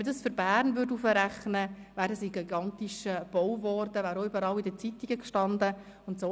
Wenn man das für Bern hochrechnen würde, wäre es ein gigantischer Bau geworden, über den in allen Zeitungen berichtet worden wäre.